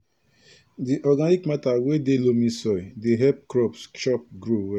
di organic matter wey dey loamy soil dey help crops chop grow well